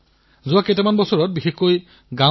জনসাধাৰণৰ অংশগ্ৰহণেহে ইয়াক সফল কৰি তুলিব পাৰে